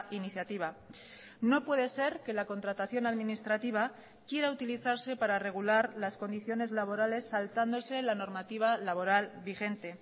iniciativa no puede ser que la contratación administrativa quiera utilizarse para regular las condiciones laborales saltándose la normativa laboral vigente